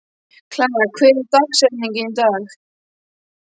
Klara, hver er dagsetningin í dag?